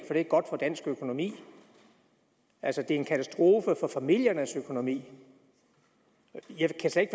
det er godt for dansk økonomi altså det er en katastrofe for familiernes økonomi jeg kan slet